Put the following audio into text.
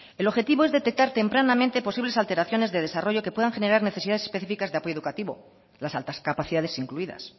el objetivo es detectar tempranamente posibles alteraciones de desarrollo que puedan generar necesidades específicas de apoyo educativo las altas capacidades incluidas